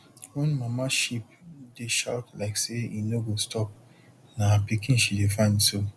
wen mama sheep dey shout like say e no go stop na her pikin she dey find so